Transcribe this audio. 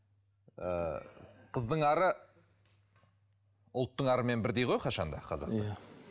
ы қыздың ары ұлттың арымен бірдей ғой қашанда қазақта иә